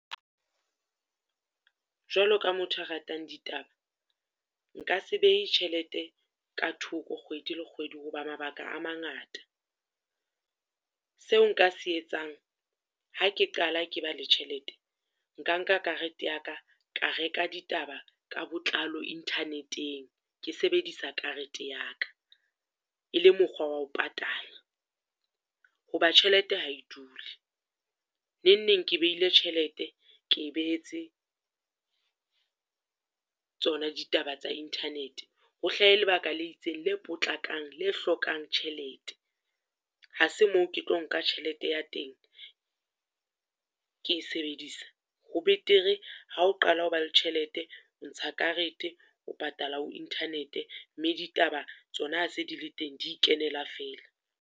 Jwalo ka motho a ratang ditaba, nka se behe tjhelete ka thoko, kgwedi le kgwedi ho ba mabaka a mangata. Seo nka se etsang, ha ke qala ke ba le tjhelete, nka nka karete ya ka ka reka ditaba ka botlalo internet-eng, ke sebedisa karete ya ka. E le mokgwa wa ho patala, ho ba tjhelete ha e dule, neng neng ke behile tjhelete, ke e behetse tsona ditaba tsa internet-e, ho hlahe lebaka la itseng le potlakang le hlokang tjhelete. Ha se moo ke tlo nka tjhelete ya teng, ke e sebedisa. Ho betere ha o qala o ba le tjhelete, o ntsha karete, o patala ho internet-e, mme ditaba tsona ha se di le teng di ikenela fela.